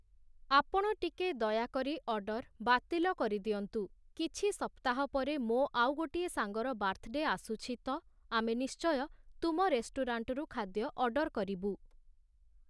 ଆପଣ ଟିକେ ଦୟାକରି ଅର୍ଡ଼ର ବାତିଲ କରିଦିଅନ୍ତୁ । କିଛି ସପ୍ତାହ ପରେ ମୋ' ଆଉ ଗୋଟିଏ ସାଙ୍ଗର ବାର୍ଥଡେ ଆସୁଛି ତ, ଆମେ ନିଶ୍ଚୟ ତୁମ ରେଷ୍ଟୁରାଣ୍ଟରୁ ଖାଦ୍ୟ ଅର୍ଡ଼ର କରିବୁ ।